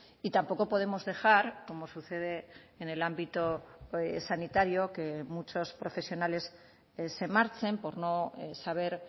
y tampoco podemos dejar como sucede en el ámbito sanitario que muchos profesionales se marchen por no saber